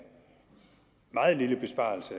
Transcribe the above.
meget lille besparelse